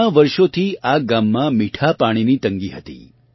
ઘણાં વર્ષોથી આ ગામમાં મીઠા પાણીની તંગી હતી